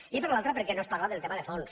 i per l’altra perquè no es parla del tema de fons